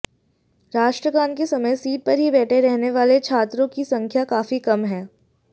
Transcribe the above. राष्ट्रगान के समय सीट पर ही बैठे रहने वाले छात्रों की संख्या काफी कम है